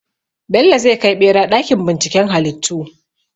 Bello zai kai ɓera ɗakin binciken halittu.